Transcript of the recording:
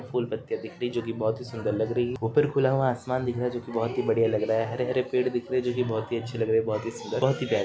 फुल-पत्तिया दिख रही जो की बहुत ही सुन्दर लग रही है ऊपर खुला हुआ आसमान दिख रहा जो की बहुत ही बढ़िया लग रहा हैं। हरे-हरे पेड़ दिख रहे जो की बहुत ही अच्छी लग रही बहोत ही सुंदर बहोत ही प्यारे --